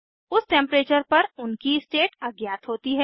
उस टेम्परेचर पर उनकी स्टेट अज्ञात होती है